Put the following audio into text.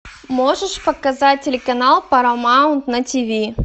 можешь показать телеканал парамаунт на тв